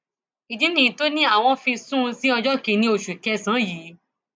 ìdí nìyí tó ní àwọn fi sún un sí ọjọ kìnínní oṣù kẹsànán yìí